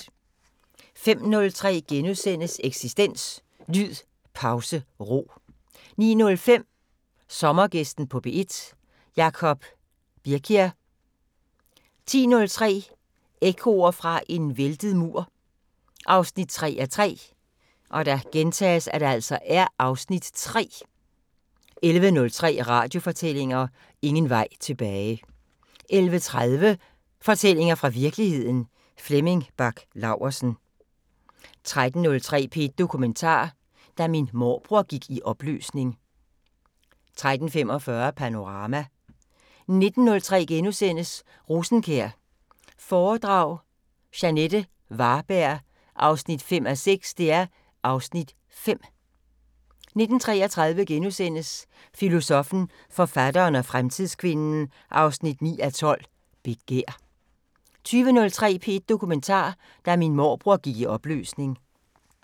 05:03: Eksistens: Lyd Pause Ro * 09:05: Sommergæsten på P1: Jacob Birkler 10:03: Ekkoer fra en væltet mur 3:3 (Afs. 3) 11:03: Radiofortællinger: Ingen vej tilbage 11:30: Fortællinger fra virkeligheden – Flemming Bach Laursen 13:03: P1 Dokumentar: Da min morbror gik i opløsning 13:45: Panorama 19:03: Rosenkjær foredrag – Jeanette Varberg 5:6 (Afs. 5)* 19:33: Filosoffen, forfatteren og fremtidskvinden 9:12: Begær * 20:03: P1 Dokumentar: Da min morbror gik i opløsning